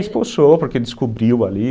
Expulsou, porque descobriu ali.